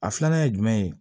A filanan ye jumɛn ye